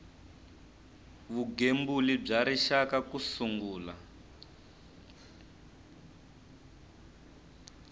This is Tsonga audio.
vugembuli bya rixaka ku sungula